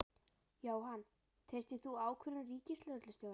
Jóhann: Treystir þú ákvörðun Ríkislögreglustjóra?